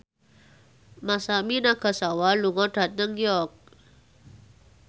Masami Nagasawa lunga dhateng York